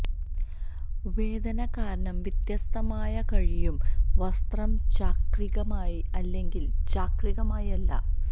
വേദന കാരണം വ്യത്യസ്തമായ കഴിയും വസ്ത്രം ചാക്രികമായി അല്ലെങ്കിൽ ചാക്രികമായി അല്ല